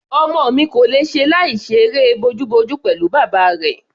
Ọmọ mi kò lè ṣe láìṣe eré bojúbojú pẹ̀lú bàbá rẹ̀.